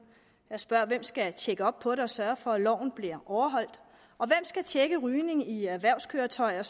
jeg må spørge hvem skal tjekke op på det og sørge for at loven bliver overholdt og hvem skal tjekke rygning i erhvervskøretøjer